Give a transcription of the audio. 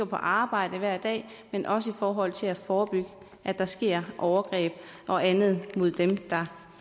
på arbejde hver dag men også i forhold til at forebygge at der sker overgreb og andet mod dem der